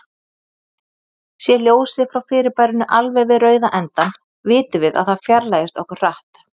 Sé ljósið frá fyrirbærinu alveg við rauða endann, vitum við að það fjarlægist okkur hratt.